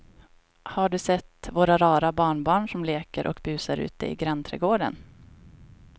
Har du sett våra rara barnbarn som leker och busar ute i grannträdgården!